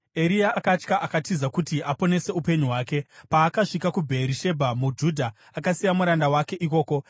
Eria akatya akatiza kuti aponese upenyu hwake. Paakasvika kuBheerishebha muJudha, akasiya muranda wake ikoko,